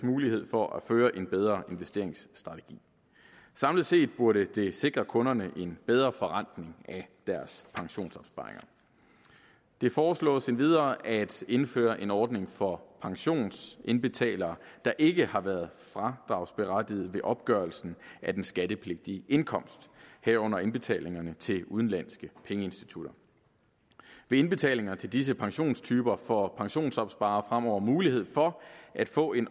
mulighed for at føre en bedre investeringsstrategi samlet set burde det sikre kunderne en bedre forrentning af deres pensionsopsparinger det foreslås endvidere at indføre en ordning for pensionsindbetalinger der ikke har været fradragsberettiget ved opgørelsen af den skattepligtige indkomst herunder indbetalinger til udenlandske pengeinstitutter ved indbetalinger til disse pensionstyper får pensionsopsparere fremover mulighed for at få en